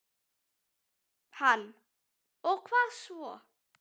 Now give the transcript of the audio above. Hann: Og hvað svo?